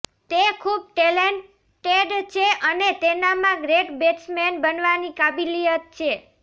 તે ખૂબ ટૅલન્ટેડ છે અને તેનામાં ગ્રેટ બૅટ્સમૅન બનવાની કાબેલિયત છે